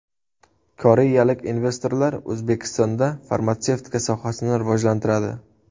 Koreyalik investorlar O‘zbekistonda farmatsevtika sohasini rivojlantiradi.